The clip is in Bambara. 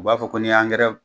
U b'a fɔ ko ni y'angɛra